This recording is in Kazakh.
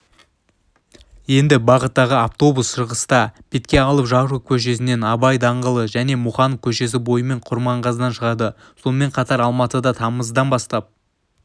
енді бағыттағы автобус шығысты бетке алып жароков көшесінен абай даңғылы және мұқанов көшесі бойымен құрманғазыдан шығады сонымен қатар алматыда тамыздан бастап